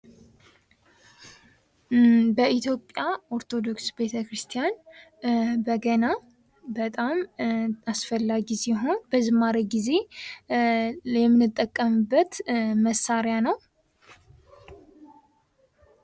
በኢትዮጵያ ኦርቶዶክስ ቤተክርስቲያን በገና በጣም አስፈላጊ ሲሆን፤ በዝማሬ ጊዜ የምንጠቀምበት መሳሪያ ነው።